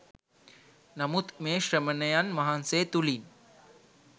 නමුත් මේ ශ්‍රමණයන් වහන්සේ තුළින්